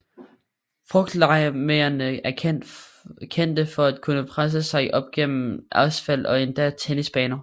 Frugtlegemerne er kendte for at kunne presse sig vej op gennem asfalt og endda tennisbaner